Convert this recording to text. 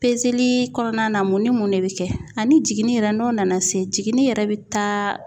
pezeli kɔnɔna na mun ni mun de be kɛ ani jiginni yɛrɛ n'o nana se jiginni yɛrɛ be taa